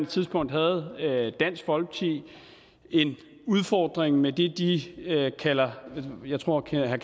tidspunkt havde dansk folkeparti en udfordring med det de kalder jeg tror herre